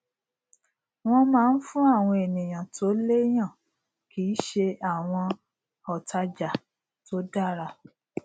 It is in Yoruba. wọn máa ń fún àwọn ènìyàn tó léyàn kì í ṣe àwọn òtàjà tó dára